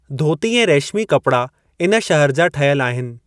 धोती ऐं रेशिमी कपड़ा इन शहर जा ठहियल आहिनि।